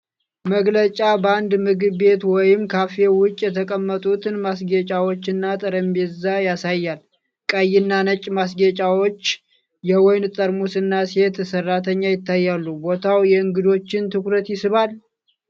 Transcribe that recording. መግለጫ በአንድ ምግብ ቤት ወይም ካፌ ውጭ የተቀመጡትን ማስጌጫዎችና ጠረጴዛ ያሳያል። ቀይና ነጭ ማስጌጫዎች፣ የወይን ጠርሙሶች እና ሴት ሰራተኛ ይታያሉ። ቦታው የእንግዶችን ትኩረት ይስባል?